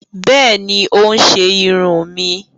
Bẹẹni, o n ṣe irun mí